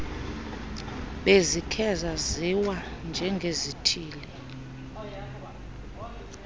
bezikhe zaziwa njengezithili